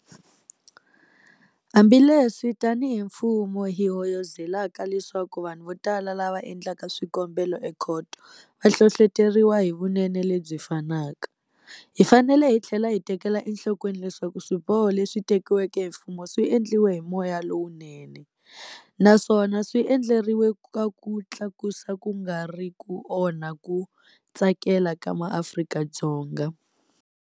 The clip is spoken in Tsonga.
Hambileswi tanihi mfumo hi hoyozelaka leswaku vanhu votala lava endlaka swikombelo ekhoto va hlohloteriwa hi vunene lebyi fanaka, hi fanele hi tlhela hi tekela enhlokweni leswaku swiboho leswi teki-weke hi mfumo swi endliwe hi moya lowunene, naswona swi endleriwe ku ku tlakusa ku nga ri ku onha ku tsakela ka MaAfrika-Dzonga.